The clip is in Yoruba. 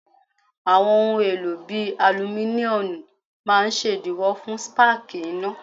Àwọn ohun èlò bíi alumíníọ́nù máa ṣèdíwọ́ fún spáàkì iná.